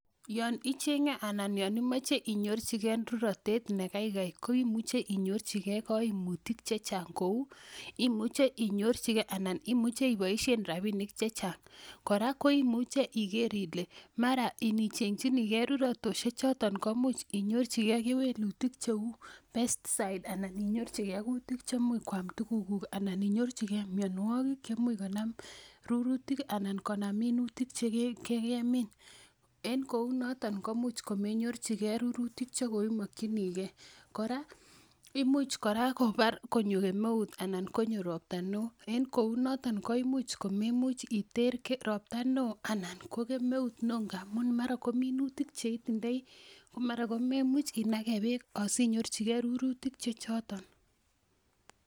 Yon icheng'en anan yon imoche inyorchigen rurotet nekeikei ko imuchei inyorchigei kaimutik chechang' kou imuchei inyorchigei anan imuchei iboishen rapinik chechang' kora ko imuuche iger Ile mara inicheng'chinigei rurotetoshe choton ko muuch inyorchigei kewelutik cheu pest site anan inyorchigei kutik chemuuch kwam tukukuk anan inyorchigei miyonwokik chemuuch konam rurutik anan konam minutik chekekemin en kou noton komuuch komenyorchigei rurutik chekoimokchinigei kora imuuch kora konyo kemeut anan konyo ropta ne oo en kou noton ko imuuch komemuch iter ropta ne oo anan ko kemeut ne oo ngamun mara ko minutik cheitindoi ko mara komemuuch inake beek asinyorchigei rurutik che choton